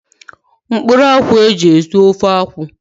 Ehu